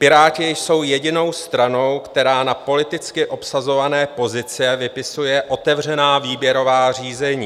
Piráti jsou jedinou stranou, která na politicky obsazované pozice vypisuje otevřená výběrová řízení.